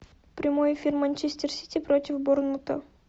прямой эфир манчестер сити против борнмута